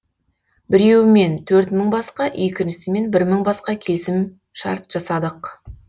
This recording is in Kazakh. біреуімен төрт мың басқа екіншісімен бір мың басқа келісімшарт жасадық